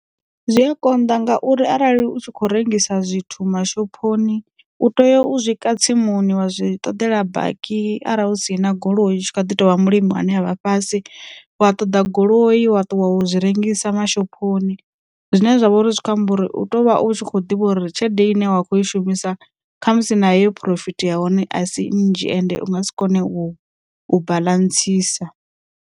Zwi a konḓa ngauri arali u tshi kho rengisa zwithu mashophoni, u tea u zwi ka tsimuni wa zwi ṱoḓela baki arali hu si na goloi kha ḓi tovha mulimi ane avha fhasi, wa ṱoḓa goloi wa ṱuwa wo zwi rengisela mashophoni. Zwine zwa vha uri zwi kho amba uri u tou vha u tshi kho ḓivha uri tshelede ine wa kho i shumisa kha musi na yo phurofiti ya hone a si nnzhi ende u nga si kone u ballantsisa.